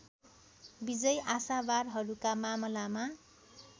विजयी आशावारहरूका मामलामा